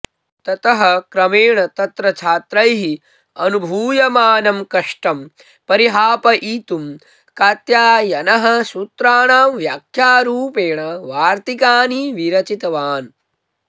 ततः क्रमेण तत्र छात्रैः अनुभूयमानं कष्टं परिहापयितुं कात्यायनः सूत्राणां व्याख्यारूपेण वार्तिकानि विरचितवान्